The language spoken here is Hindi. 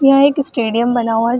यह एक स्टेडियम बना हुआ है ज --